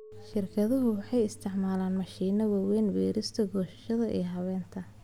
Shirkaduhu waxay u isticmaalaan mashiino waaweyn beerista, goosashada, iyo habaynta.